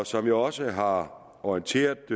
som jeg også har orienteret